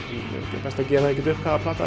best að gefa ekkert upp hvaða plata